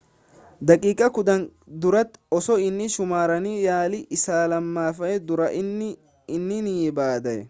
daqiiqaa kudhan dura osoo hin xumuramiin yaalii isa lamaffaan duraa inni nii badee